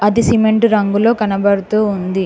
ఇది సిమెంట్ రంగులో కనబడుతూ ఉంది.